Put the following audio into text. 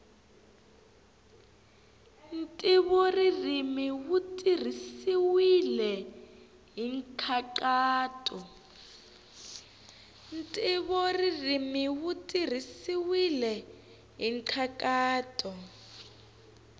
ntivoririmi wu tirhisiwile hi nkhaqato